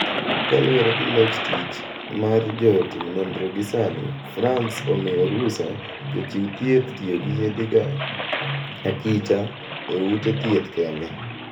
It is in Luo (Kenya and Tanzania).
Kaluwore gi log tich mar jo timnonro gisani Frans omiyo rusa jo chiw thieth tiyogi yedhe go akicha e ute thieth kende.